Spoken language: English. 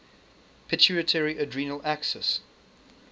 pituitary adrenal axis